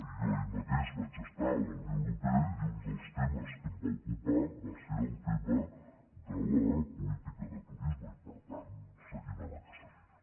jo ahir mateix vaig estar a la unió europea i un dels temes que em va ocupar va ser el tema de la política de turisme i per tant seguim en aquesta línia